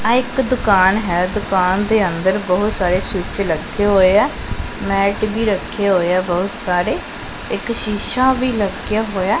ਆ ਇੱਕ ਦੁਕਾਨ ਹੈ ਦੁਕਾਨ ਦੇ ਅੰਦਰ ਬਹੁਤ ਸਾਰੇ ਸਵਿਚ ਲੱਗੇ ਹੋਏ ਆ ਮੈਟ ਵੀ ਰੱਖੇ ਹੋਏ ਆ ਬਹੁਤ ਸਾਰੇ ਇੱਕ ਸ਼ੀਸ਼ਾ ਵੀ ਲੱਗੀਆਂ ਹੋਇਆ।